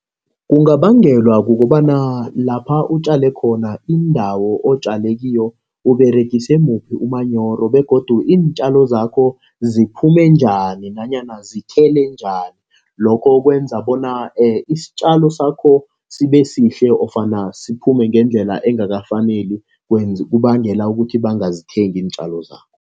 Kungabangelwa kukobana lapha utjale khona, indawo otjale kiyo uberegise muphi umanyoro begodu iintjalo zakho ziphume njani, nanyana zithele njani. Lokho kwenza bona isitjalo sakho sibe sihle nofana siphume ngendlela engakafaneli, kubangela ukuthi bangazithengi iintjalo zakho.